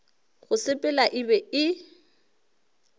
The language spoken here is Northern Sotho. go sepela e be e